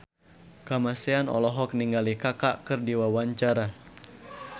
Kamasean olohok ningali Kaka keur diwawancara